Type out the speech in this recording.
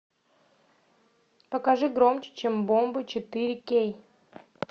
покажи громче чем бомбы четыре кей